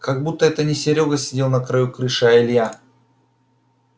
как будто это не серёга сидел на краю крыши а илья